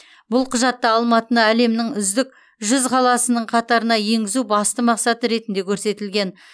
бұл құжатта алматыны әлемнің үздік жүз қаласының қатарына енгізу басты мақсат ретінде көрсетілген